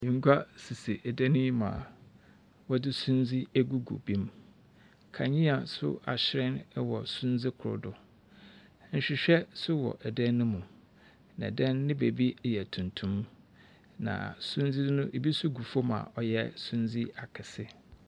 Ngua sisi dan yi mu a wɔdze sundze egugu bi mu, kandzea so ahyerɛn wɔ sundze kor do. Nhwehwɛ so wɔ dan ne mu. Na dan no ne beebi yɛ tuntum. Na sudze no, bi so gu famu a ɔyɛ sundze akɛse.